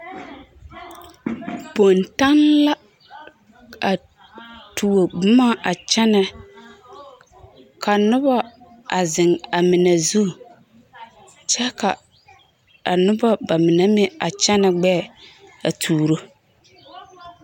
Bontaŋ la a tuo boma a kyɛnɛ ka noba a zeŋ a mine zu kyɛ ka a noba bamine meŋ a kyɛnɛ gbɛɛ a tuuro.